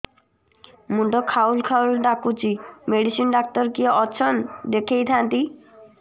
ମୁଣ୍ଡ ଖାଉଲ୍ ଖାଉଲ୍ ଡାକୁଚି ମେଡିସିନ ଡାକ୍ତର କିଏ ଅଛନ୍ ଦେଖେଇ ଥାନ୍ତି